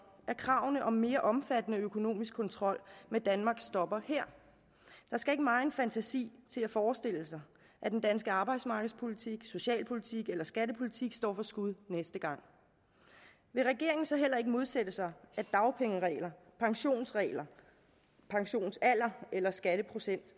at kravene om mere omfattende økonomisk kontrol med danmark stopper her der skal ikke megen fantasi til at forestille sig at den danske arbejdsmarkedspolitik socialpolitik eller skattepolitik står for skud næste gang vil regeringen så heller ikke modsætte sig at dagpengeregler pensionsregler pensionsalder eller skatteprocent